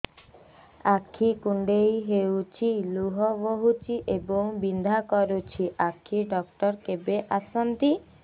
ଆଖି କୁଣ୍ଡେଇ ହେଉଛି ଲୁହ ବହୁଛି ଏବଂ ବିନ୍ଧା କରୁଛି ଆଖି ଡକ୍ଟର କେବେ ଆସନ୍ତି